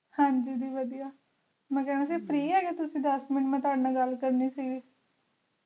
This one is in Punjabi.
ਹਾਂਜੀ ਦੀ ਵਦੀਆ ਮੈਂ ਕਹਿਣਾ ਸੀ Free ਹੈਗੇ ਤੁਸੀ ਦੱਸ minute ਮੈਂ ਤੁਹਾਡੇ ਨਾਲ ਗੱਲ ਕਰਨੀ ਸੀਗੀ